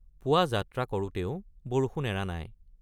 পুৱা যাত্ৰা কৰোঁতেও বৰষুণ এৰা নাই।